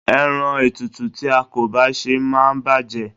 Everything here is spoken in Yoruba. Ẹran tútù tí a kò bá sè máa ń bàjé.